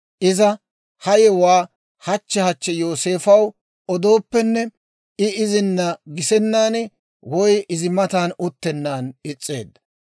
Iza ha yewuwaa hachche hachche Yooseefow odooppenne, I izina gisennan woy izi matan uttennan is's'eedda.